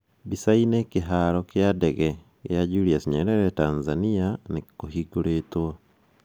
Mbica-inĩ: Kĩhaaro kĩa ndege gĩa Julius Nyerere Tanzania nĩ kĩhingũrĩĩtwo